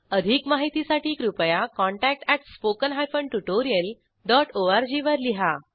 अधिक माहितीसाठी कृपया contact at spoken hyphen tutorial dot org वर लिहा